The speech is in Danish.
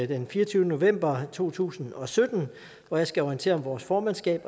den fireogtyvende november to tusind og sytten hvor jeg skal orientere om vores formandskab